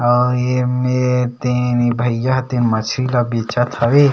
अऊ ये मेर ते भइयया ह ते मछरी ल बेचा थवे ।